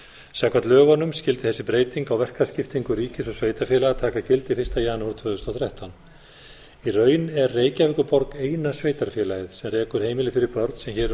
samkvæmt lögunum skyldi þessi breyting á verkaskiptingu ríkis og sveitarfélaga taka gildi fyrsta janúar tvö þúsund og þrettán í raun er reykjavíkurborg eina sveitarfélagið sem rekur heimili fyrir börn sem hér um